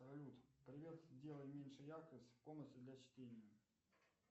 салют привет сделай меньше яркость в комнате для чтения